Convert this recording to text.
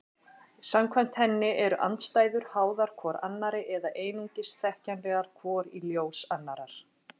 Samkvæmt henni eru andstæður háðar hvor annarri eða einungis þekkjanlegar hvor í ljós annarrar.